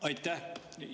Aitäh!